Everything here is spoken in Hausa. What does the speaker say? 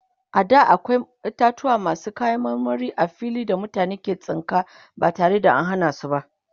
a da akwai itatauwa masu kayan marmari a fili da mutane ke tsinka ba tare da an Hana su ba